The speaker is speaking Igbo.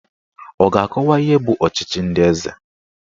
Ọ ga-akọwa ihe bụ ọchịchị ndị eze?